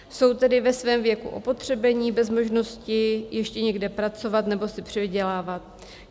Jsou tedy ve svém věku opotřebení, bez možnosti ještě někde pracovat nebo si přivydělávat.